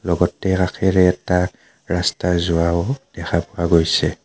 লগতে কাষেৰে এটা ৰাস্তা যোৱাও দেখা পোৱা গৈছে.